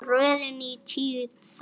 Röðin er tíu þættir.